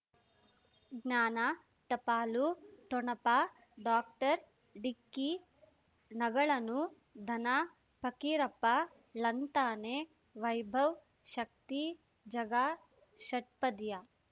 ಜ್ಞಾನ ಟಪಾಲು ಠೊಣಪ ಡಾಕ್ಟರ್ ಢಿಕ್ಕಿ ಣಗಳನು ಧನ ಫಕೀರಪ್ಪ ಳಂತಾನೆ ವೈಭವ್ ಶಕ್ತಿ ಝಗಾ ಷಟ್ಪದಿಯ